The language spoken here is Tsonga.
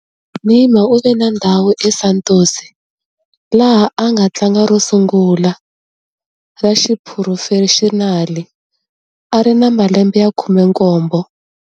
Neymar u ve na ndhuma eSantos, laha a nga tlanga ro sungula ra xiphurofexinali a ri na malembe ya 17.